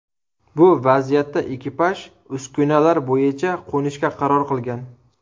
Bu vaziyatda ekipaj uskunalar bo‘yicha qo‘nishga qaror qilgan.